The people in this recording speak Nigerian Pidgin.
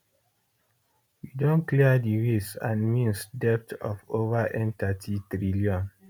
we don clear di ways and means debt of over n30 trillion